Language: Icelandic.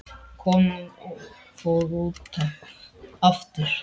Konan fór út aftur.